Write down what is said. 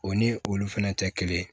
O ni olu fɛnɛ tɛ kelen ye